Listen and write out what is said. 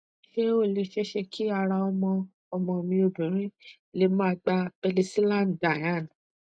se o le sese ki ara omo omo mi obinrin le ma gba penicillan diane